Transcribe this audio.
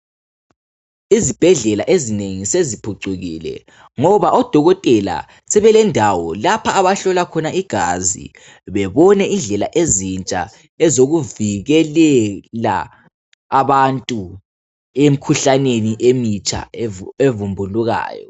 Izibhedlela ezinengi seziphucukile ngoba oDokotela sebelendawo lapha abahlola khona igazi bebone indlela ezintsha ezokuvikelela abantu emikhuhlaneni emitsha evumbulukayo.